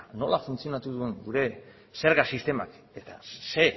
nola funtzionatu duen gure zerga sistemak eta zein